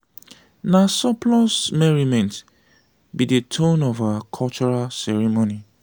na surplus merriment be dey tone of our cultural ceremony.